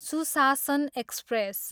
सुशासन एक्सप्रेस